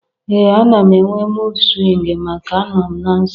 Ee! Ana m enwe mud swingu maka n'a nọ m na nsọ m.